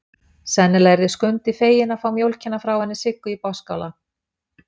Sennilega yrði Skundi feginn að fá mjólkina frá henni Siggu í Botnsskála.